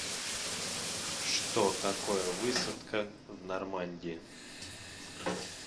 что такое высадка в нормандии